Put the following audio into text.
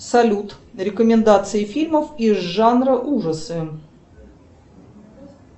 салют рекомендации фильмов из жанра ужасы